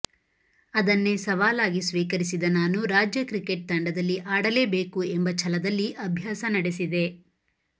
ಅದನ್ನೇ ಸವಾಲಾಗಿ ಸ್ವೀಕರಿಸಿದ ನಾನು ರಾಜ್ಯ ಕ್ರಿಕೆಟ್ ತಂಡದಲ್ಲಿ ಆಡಲೇಬೇಕು ಎಂಬ ಛಲದಲ್ಲಿ ಅಭ್ಯಾಸ ನಡೆಸಿದೆ